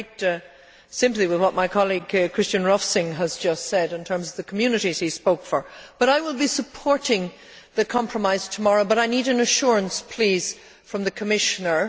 I have great sympathy with what my colleague Christian Rovsing has just said in terms of the communities he spoke for, but I will be supporting the compromise tomorrow. However, I need an assurance from the Commissioner.